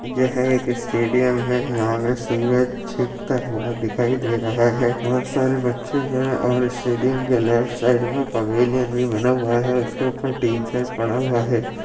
यह एक स्टेडियम है। यहां पे सूरज छिपता हुआ दिखाई दे रहा है। वह सारे बच्चे हैं और स्टेडियम के लेफ्ट साइड में पवेलियन भी बना हुआ है उसके ऊपर टीन सेट पड़ा हुआ है।